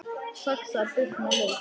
Saxað buff með lauk